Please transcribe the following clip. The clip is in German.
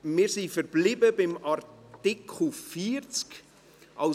Wir sind bei Artikel 40 verblieben.